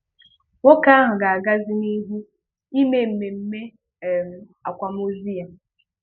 Nwoke ahụ ga-agazi n'ihu ị mee mmemme um akwamozu ya.